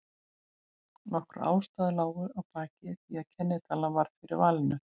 Nokkrar ástæður lágu að baki því að kennitalan varð fyrir valinu.